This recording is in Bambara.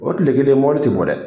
O kile kelen ti bɔ dɛ!